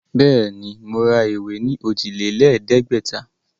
Bẹ́ẹ̀ ni, mo ra ìwé ní òjìlélẹ̀ẹ́dẹ̀gbẹ̀ta.